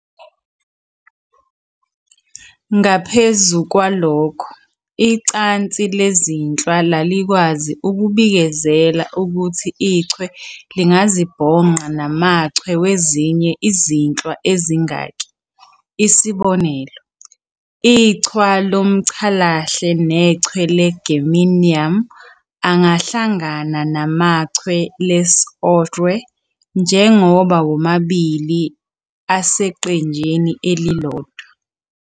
Ngaphezu kwalokho, icansi lezinhlwa lalikwazi ukubikezela ukuthi ichwe lingazibhonqa namachwe wezinye izinhlwa ezingaki - isb., ichwe lomCalahle nechwe le "germanium" angahlangana namachwe lesOrhwe njengoba womabili aseqenjini elilodwa.